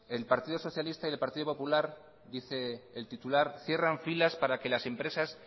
el partido socialista y el partido popular dice el titular cierran filas para que las empresas